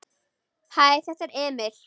Hæ, þetta er Emil.